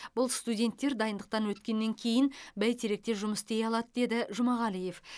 бұл студенттер дайындықтан өткеннен кейін бәйтеректе жұмыс істей алады деді жұмағалиев